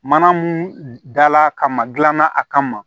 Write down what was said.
Mana mun dala kama dilanna a kama